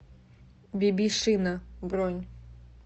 биби шина бронь